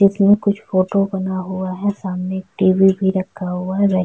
इसमें कुछ फोटो बना हुआ है। सामने टी.वी. भी रखा हुआ है।